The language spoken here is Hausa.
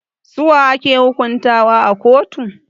Su waye ake hukuntawa a kotu?